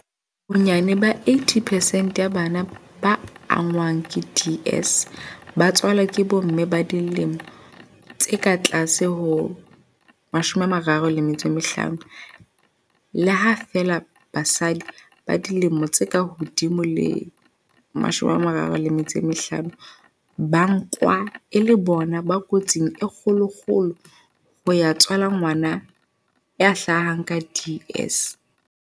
Bonyane 80 percent ya bana ba angwang ke DS ba tswalwa ke bomme ba dilemo tse ka tlase ho 35, le ha feela basadi ba dilemo tse ka hodimo ho 35 ba nkwa e le bona ba kotsing e kgolokgolo ya ho tswala ngwana ya hlahang ka DS.